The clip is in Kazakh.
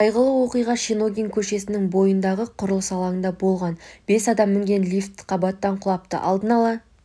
қайғылы оқиға шеногин көшесінің бойындағы құрылыс алаңында болған бес адам мінген лифт қабаттан құлапты алдын ала